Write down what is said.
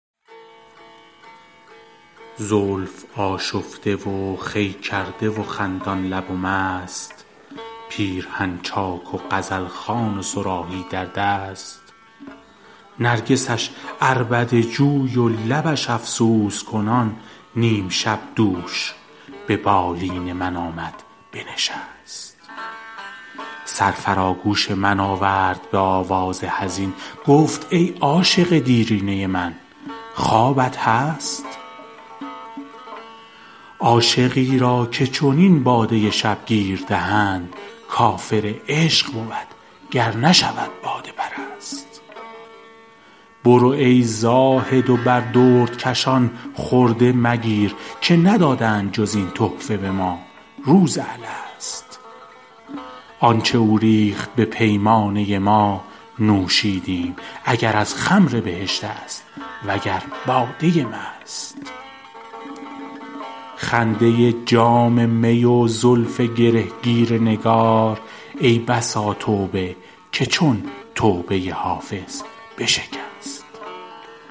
زلف آشفته و خوی کرده و خندان لب و مست پیرهن چاک و غزل خوان و صراحی در دست نرگسش عربده جوی و لبش افسوس کنان نیم شب دوش به بالین من آمد بنشست سر فرا گوش من آورد به آواز حزین گفت ای عاشق دیرینه من خوابت هست عاشقی را که چنین باده شبگیر دهند کافر عشق بود گر نشود باده پرست برو ای زاهد و بر دردکشان خرده مگیر که ندادند جز این تحفه به ما روز الست آن چه او ریخت به پیمانه ما نوشیدیم اگر از خمر بهشت است وگر باده مست خنده جام می و زلف گره گیر نگار ای بسا توبه که چون توبه حافظ بشکست